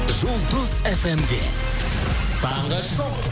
жұлдыз фмде таңғы шоу